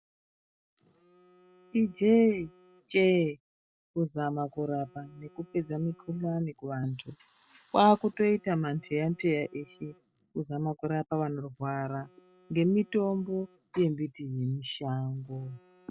Ijee-chee kuzama kurapa nekupedza mikuhlani kuvantu. Kwakutoita mandeya ndeya eshe kuzama kurapa vanorwara ngemitombo yembiti yemishango.